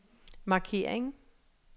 markering